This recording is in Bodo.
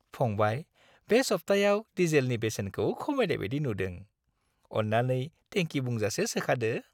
फंबाय, बे सब्थायाव डिजेलनि बेसेनखौ खमायनाय बायदि नुदों। अन्नानै टेंकि बुंजासे सोखादो।